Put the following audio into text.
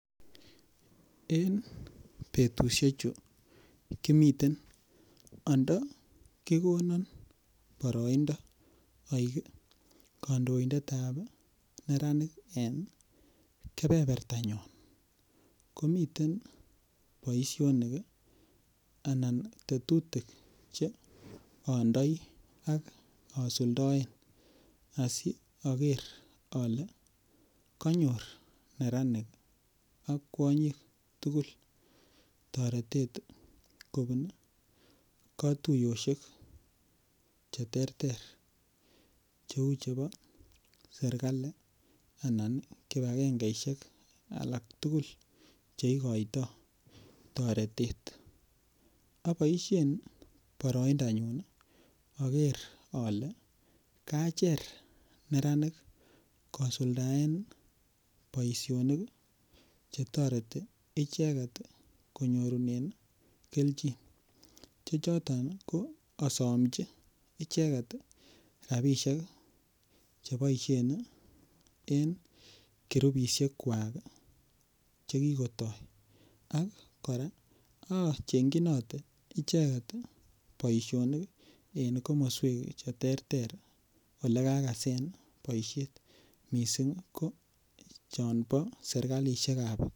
En betusiechu kimiten ando ki konon boroindo aik kandoindet ab neranik en keberbertanyon komiten boisionik anan tetutik Che andoi ak asuldaen asi ager ale konyor neranik ak kwonyik tugul toretet kobun katuyosyek Che terter Cheu chebo serkali anan kibagengesiek alak Che igoitoi toretet aboisien boroindo nyun ager ale kacher neranik kosuldaen boisinik Che toreti icheget konyorunen keljin Che choton ko asomji rabisiek Che boisien en kirupisiek kwak Che kigotoi kora acheng chinote icheget boisionik en komoswek Che terter Ole kagasen boisiet mising ko chon bo serkalisiek ab kaunti